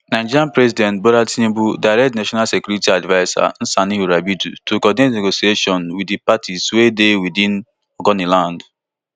nigeria president bola tinubu direct di national security adviser nsa nuhu ribadu to coordinate negotiations wit di parties wey dey within ogoniland